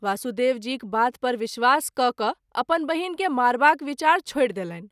वासुदेव जीक बात पर विश्वास कय क’अपन बहिन के मारबाक विचार छोड़ि देलनि।